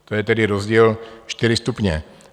To je tedy rozdíl čtyři stupně.